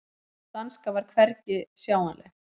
Sú danska var hvergi sjáanleg.